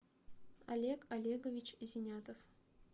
олег олегович зинятов